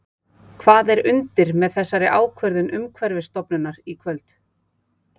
Hvað er undir með þessari ákvörðun Umhverfisstofnunar í kvöld?